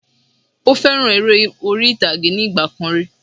Ó fẹ́ràn eré orí ìtàgé ní ìgbà kan rí